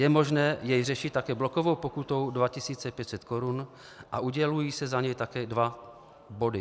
Je možné jej řešit také blokovou pokutou 2 500 Kč a udělují se za něj také dva body.